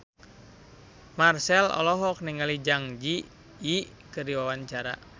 Marchell olohok ningali Zang Zi Yi keur diwawancara